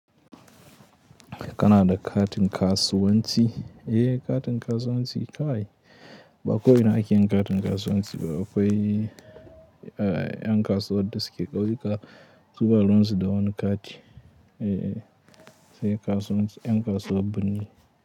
Kana da katin kasuwanci. Eh katin kasuwanci ba ko wane akeyi katin kasuwanci ba akwai an kasuwar da suke kauri su ba ruwan su da wani kati. Eh sai kasuwanci en kasuwar birni.